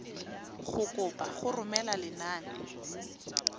go kopa go romela lenane